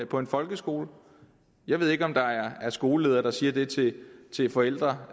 på en folkeskole jeg ved ikke om der er skoleledere der siger til til forældre